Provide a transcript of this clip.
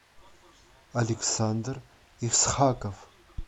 александр исхаков